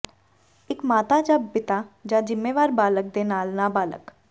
ਇੱਕ ਮਾਤਾ ਜਾਂ ਪਿਤਾ ਜਾਂ ਜ਼ਿੰਮੇਵਾਰ ਬਾਲਗ ਦੇ ਨਾਲ ਨਾਬਾਲਗ